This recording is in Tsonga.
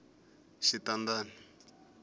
xitandani